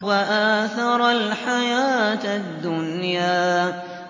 وَآثَرَ الْحَيَاةَ الدُّنْيَا